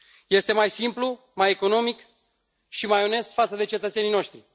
Este mai simplu, mai economic și mai onest față de cetățenii noștri.